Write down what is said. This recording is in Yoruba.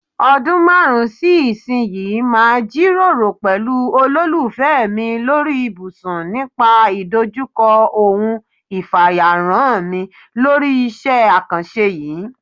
O̩dún márùn-ún sí ìsinyìí màá jíròrò pè̩lú olólùfé̩ mi lórí ibùsùn nípa ìdojúko̩ òun ìfàyàrán mi lórí is̩é̩ àkàns̩e yìí.